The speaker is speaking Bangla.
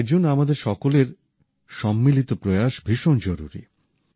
এর জন্য আমাদের সকলের সম্মিলিত প্রয়াস ভীষণ জরুরী